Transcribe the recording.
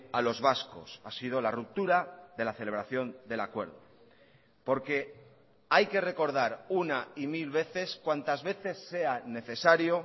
a los vascos ha sido la ruptura de la celebración del acuerdo porque hay que recordar una y mil veces cuántas veces sea necesario